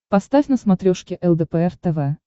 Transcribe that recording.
поставь на смотрешке лдпр тв